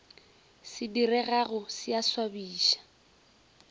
se diregago se a swabiša